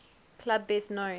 club best known